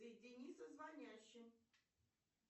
соедини со звонящим